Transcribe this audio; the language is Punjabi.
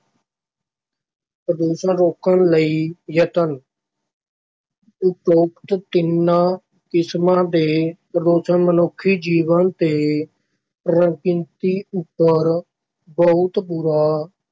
ਪ੍ਰਦੂਸ਼ਣ ਰੋਕਣ ਲਈ ਯਤਨ ਉਪਰੋਕਤ ਤਿੰਨਾਂ ਕਿਸਮਾਂ ਦੇ ਪ੍ਰਦੂਸ਼ਣ ਮਨੁੱਖੀ ਜੀਵਨ ਤੇ ਪ੍ਰਕ੍ਰਿਤੀ ਉੱਪਰ ਬਹੁਤ ਬੁਰਾ